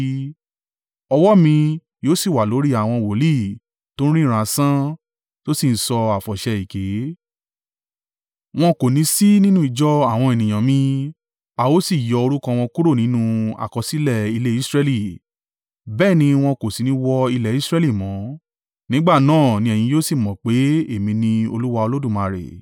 Ọwọ́ mi yóò sì wà lórí àwọn wòlíì tó ń ríran asán, tó sì ń sọ àfọ̀ṣẹ èké. Wọn kò ní sí nínú ìjọ àwọn ènìyàn mi, a ó sì yọ orúkọ wọn kúrò nínú àkọsílẹ̀ ilé Israẹli, bẹ́ẹ̀ ni wọn kò sì ní wọ ilẹ̀ Israẹli mọ́. Nígbà náà ni ẹ̀yin yóò sì mọ̀ pé, Èmi ni Olúwa Olódùmarè.